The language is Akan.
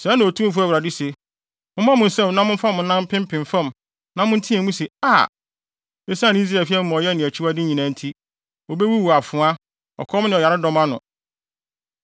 “ ‘Sɛɛ na Otumfo Awurade se: Mommɔ mo nsam na momfa mo nan mpempem fam na monteɛ mu se, “A!” esiane Israel fi amumɔyɛ ne akyiwade nyinaa nti, wobewuwu afoa, ɔkɔm ne ɔyaredɔm ano.